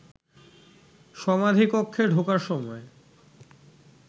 সমাধিকক্ষে ঢোকার সময়